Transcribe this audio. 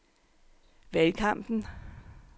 valgkampen